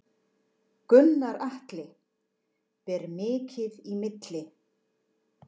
Gunnar Atli: Ber mikið í milli?